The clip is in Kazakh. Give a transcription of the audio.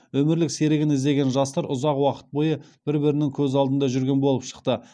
өмірлік серігін іздеген жастар ұзақ уақыт бойы бір бірінің көз алдында жүрген болып шықты